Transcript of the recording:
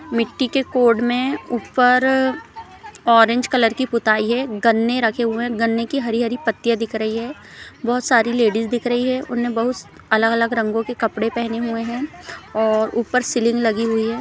मिट्टी के कोड में ऊपर ऑरेंज कलर की पुताई है गन्ने रखे हुए है गन्ने की हरी हरी पत्तियां दिख रही है बहुत सारी लेडीज दिख रही है उन्होंने बहुत अलग अलग रंगो के कपड़े पहने हुए है और ऊपर सीलिंग लगी हुई हैं ।